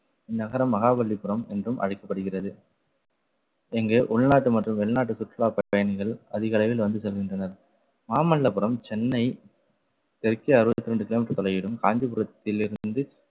இந்நகரம் மகாபலிபுரம் என்றும் அழைக்கப்படுகிறது இங்கு உள்நாட்டு மற்றும் வெளிநாட்டு சுற்றுலா பயணிகள் அதிக அளவில் வந்து செல்கின்றனர். மாமல்லபுரம் சென்னை தெற்கே அறுபத்தி இரண்டு kilometer தொலைவிலும் காஞ்சிபுரத்தில் இருந்து,